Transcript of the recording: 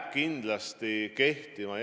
Ma väga tänan selle konstruktiivse küsimuse eest!